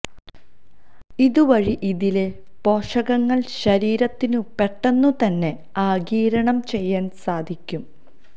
ഇതുവഴി ഇതിലെ പോഷകങ്ങള് ശരീത്തിനു പെട്ടെന്നു തന്നെ ആഗിരണം ചെയ്യാന് സാധിയ്ക്കും